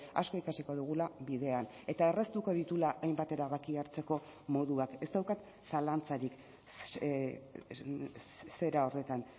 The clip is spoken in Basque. asko ikasiko dugula bidean eta erraztuko dituela hainbat erabakia hartzeko moduak ez daukat zalantzarik zera horretan